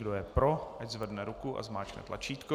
Kdo je pro, ať zvedne ruku a zmáčkne tlačítko.